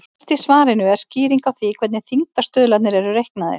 Neðst í svarinu er skýring á því hvernig þyngdarstuðlarnir eru reiknaðir.